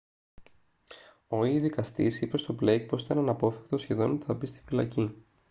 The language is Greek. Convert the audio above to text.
ο/η δικαστής είπε στον blake πως ήταν «αναπόφευκτο σχεδόν» ότι θα μπει στη φυλακή